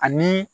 Ani